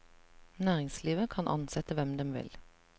Næringslivet kan ansette hvem dem vil.